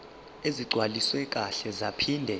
ezigcwaliswe kahle zaphinde